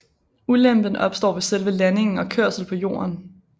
Ulempen opstår ved selve landingen og kørsel på jorden